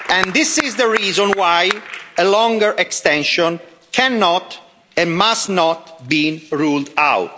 This is the reason why a longer extension cannot and must not be ruled out.